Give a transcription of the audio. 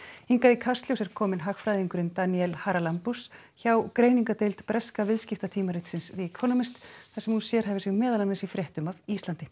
hingað í Kastljós er komin hagfræðingurinn Danielle hjá greiningardeild breska viðskiptatímaritsins The Economist þar sem hún sérhæfir sig meðal annars í fréttum af Íslandi